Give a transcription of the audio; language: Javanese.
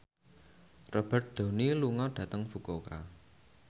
Robert Downey lunga dhateng Fukuoka